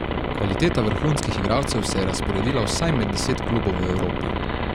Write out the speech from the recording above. Kvaliteta vrhunskih igralcev se je razporedila vsaj med deset klubov v Evropi.